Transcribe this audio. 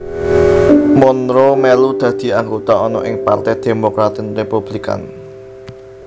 Monroe mèlu dadi anggota ana ing Parte Demokratik Republikan